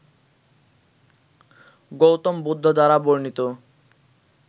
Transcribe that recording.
গৌতম বুদ্ধ দ্বারা বর্ণিত